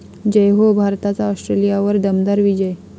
जय हो! भारताचा ऑस्ट्रेलियावर दमदार विजय